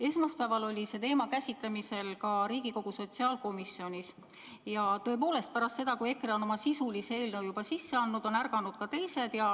Esmaspäeval käsitleti seda teemat ka Riigikogu sotsiaalkomisjonis ja tõepoolest, pärast seda, kui EKRE oli oma sisulise eelnõu juba sisse andnud, ärkasid ka teised.